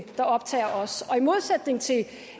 der optager os og i modsætning til